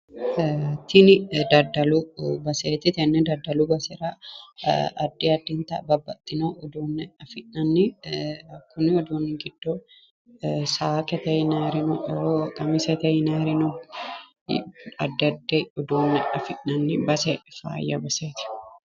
Tini daddalu baseeti tenne daddalu basera addi addinta babbaxxino uduunne afi'nanni kuni uduunni giddo saakete yinayiiri no qamisete yinayiiri no addi addi uduunne afi'nanni base faayya baseeti.